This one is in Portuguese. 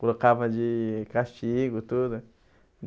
Colocava de castigo, tudo.